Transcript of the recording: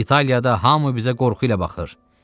İtaliyada hamı bizə qorxu ilə baxır.